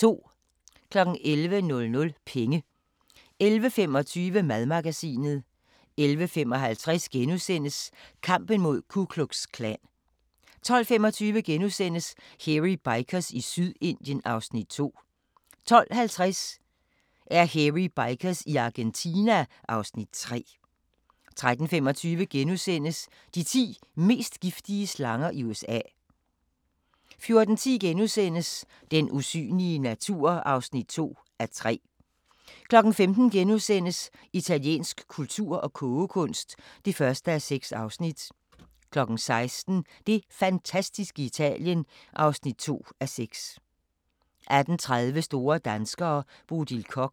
11:00: Penge 11:25: Madmagasinet 11:55: Kampen mod Ku Klux Klan * 12:25: Hairy Bikers i Sydindien (Afs. 2)* 12:50: Hairy Bikers i Argentina (Afs. 3) 13:25: De ti mest giftige slanger i USA * 14:10: Den usynlige natur (2:3)* 15:00: Italiensk kultur og kogekunst (1:6)* 16:00: Det fantastiske Italien (2:6) 18:30: Store danskere - Bodil Koch